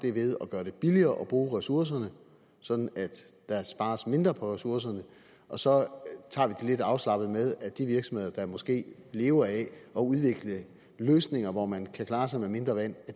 er ved at gøre det billigere at bruge ressourcerne sådan at der spares mindre på ressourcerne og så tager vi det lidt afslappet med at de virksomheder der måske lever af at udvikle løsninger hvor man kan klare sig med mindre vand